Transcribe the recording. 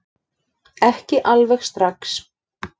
Ekki alveg strax